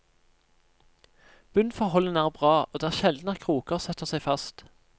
Bunnforholdene er bra, og det er sjelden at kroker setter seg fast.